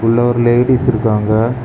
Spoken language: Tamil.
உள்ள ஒரு லேடீஸ் இருக்காங்க.